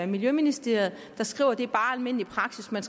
miljøministeriet der skriver at det bare er almindelig praksis man